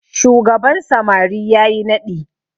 shugaban samari ya yi naɗi